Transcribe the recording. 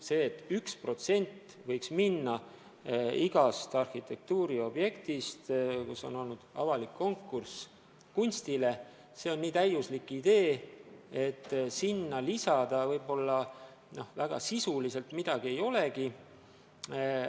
See, et 1% objekti maksumusest võiks minna, kui on olnud avalik konkurss, kunstile, on nii täiuslik idee, et sinna sisuliselt lisada midagi ei olegi.